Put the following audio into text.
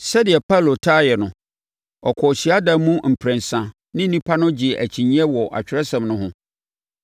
Sɛdeɛ Paulo taa yɛ no, ɔkɔɔ hyiadan mu mprɛnsa ne nnipa no gyee akyinnyeɛ wɔ Atwerɛsɛm no ho,